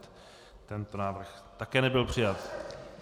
Tento návrh také nebyl přijat.